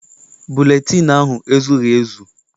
Buletịịnụ ahụ ezughị ezu.